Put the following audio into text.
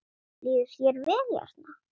Líður þér vel hérna?